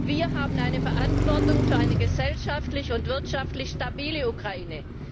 Wir haben eine Verantwortung für eine gesellschaftlich und wirtschaftlich stabile Ukraine.